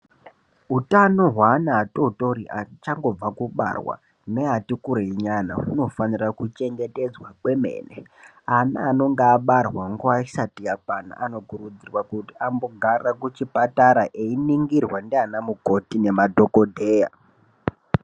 Hutano hweana atotori achangobva mukubarwa neati kurei nyana hunofanira kuchengetedzwa kwemene. Ana anonga abarwa nguva isati yakwana anokurudzirwaa kuti ambogaraa kuchipatara einingirwaa ndiaana mukoti nemadhogodheyaa.